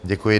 Děkuji.